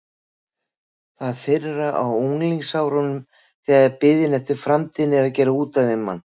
Það fyrra á unglingsárunum þegar biðin eftir framtíðinni er að gera út af við mann.